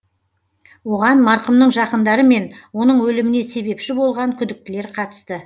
оған марқұмның жақындары мен оның өліміне себепші болған күдіктілер қатысты